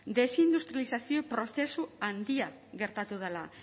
desindustrializazio prozesu handia gertatu dela